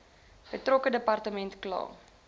betrokke departement kla